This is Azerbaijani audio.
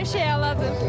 Hər şey əladır!